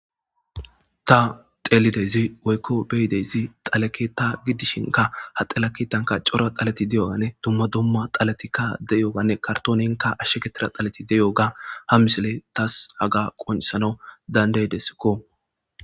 Ta xelidaysi woykko beidayssi dhalle keththan gidishinika ha dhale keththanka cora dhaley diyoganne dumma dumma dhaletika deiyobbane kartonen ashagetido dhaley diyaba ha missiley tasi haga qonccisanawu dandaidesikko.